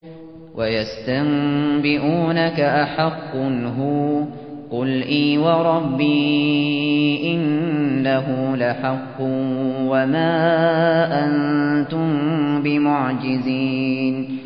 ۞ وَيَسْتَنبِئُونَكَ أَحَقٌّ هُوَ ۖ قُلْ إِي وَرَبِّي إِنَّهُ لَحَقٌّ ۖ وَمَا أَنتُم بِمُعْجِزِينَ